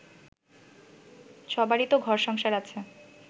সবারই তো ঘর সংসার আছে